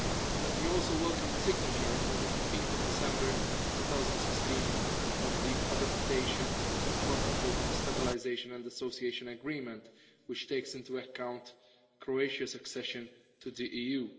Let me also welcome the signature on 15 December 2016 of the adaptation protocol to the Stabilisation and Association Agreement, which takes into account Croatia's accession to the EU.